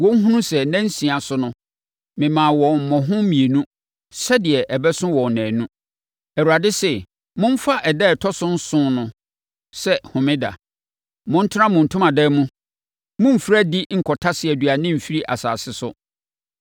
Wɔnhunu sɛ nna nsia so no, memaa wɔn mmɔho mmienu sɛdeɛ ɛbɛso wɔn nnanu? Awurade se momfa ɛda a ɛtɔ so nson no sɛ homeda; montena mo ntomadan mu. Mommfiri adi nkɔtase aduane mfiri asase so.”